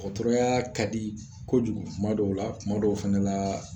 Ɔtɔrɔyaa ka di kojugu kuma dɔw la kuma dɔw fɛnɛ laa